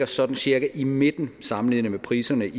sådan cirka i midten sammenlignet med priserne